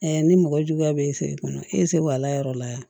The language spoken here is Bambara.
ni mɔgɔ juguya bɛ e fɛ yen nɔ e se wa ala yɔrɔ la